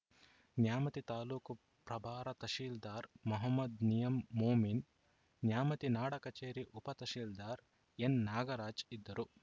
ನ್ಯಾಮತಿ ತಾಲೂಕು ಪ್ರಭಾರ ತಹಸೀಲ್ದಾರ್‌ ಮಹಮ್ಮದ್‌ ನಯಿಂ ಮೊಮಿನ್‌ ನ್ಯಾಮತಿ ನಾಡ ಕಚೇರಿ ಉಪ ತಹಸೀಲ್ದಾರ್‌ ಎನ್‌ನಾಗರಾಜ್‌ ಇದ್ದರು